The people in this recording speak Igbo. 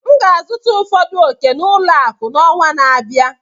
M ga-azụta ụfọdụ ọ̀kè n'ụlọ akụ n'ọnwa na-abịa.